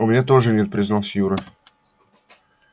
у меня тоже нет признался юра